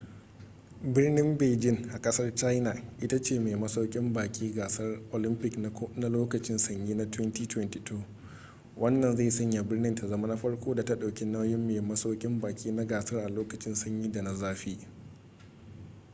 birnin beijing a kasar china ita ce mai masaukin baki gasar olympic na lokacin sanyi na 2022 wannan zai sanya birnin ta zama na farko da ta daukin nauyin mai masaukin baki na gasar a lokacin sanyin da na zafi